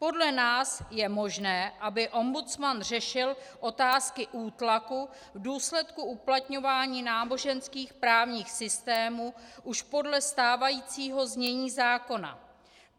Podle nás je možné, aby ombudsman řešil otázky útlaku v důsledku uplatňování náboženských právních systémů už podle stávajícího znění zákona.